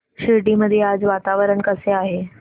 शिर्डी मध्ये आज वातावरण कसे आहे